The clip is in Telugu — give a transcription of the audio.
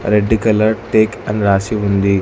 రెడ్ కలర్ టేక్ అని రాసి ఉంది.